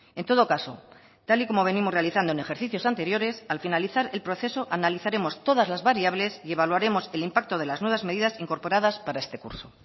en todo caso tal y como venimos realizando en ejercicios anteriores al finalizar el proceso analizaremos todas las variables y evaluaremos el impacto de las nuevas medidas incorporadas para este curso